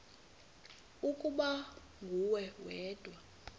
ukuba nguwe wedwa